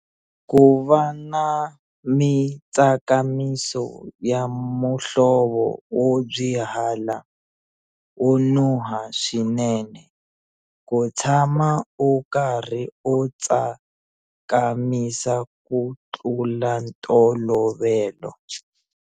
Ku va na mitsakamiso ya muhlovo wo byihala, wo nuha swinene. Ku tshama u karhi u tsakamisa ku tlula ntolovelo.